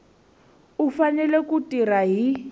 u fanele ku tirha hi